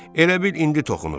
Elə bil indi toxunub.